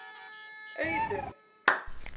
Auðun